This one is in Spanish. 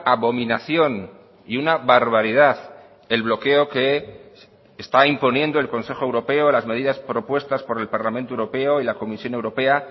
abominación y una barbaridad el bloqueo que está imponiendo el consejo europeo las medidas propuestas por el parlamento europeo y la comisión europea